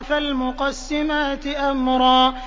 فَالْمُقَسِّمَاتِ أَمْرًا